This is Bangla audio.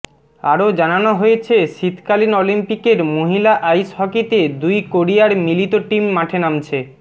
আরও জানানো হয়েছে শীতকালীন অলিম্পিকের মহিলা আইস হকিতে দুই কোরিয়ার মিলিত টিম মাঠে নামছে